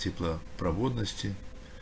теплопроводности